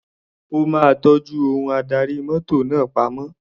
Ó máa tọ́jú ohun adarí mọ́tò náà pamọ́.